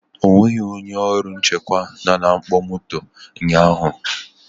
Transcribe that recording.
O nweghị onye ọrụ nchekwa nọ na mkpọ moto ụnyahụ